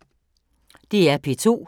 DR P2